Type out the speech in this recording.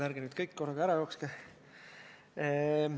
Nüüd on meil ka kirjalikult olemas Reformierakonna fraktsiooni ettepanek.